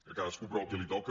a cadascú però el que li toca